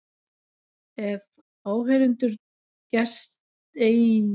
Ef áheyrendum gest eigi að orðum hans heyrist illur kurr í þeim.